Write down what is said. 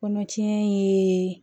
Kɔnɔtiɲɛ ye